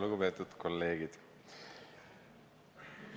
Lugupeetud kolleegid!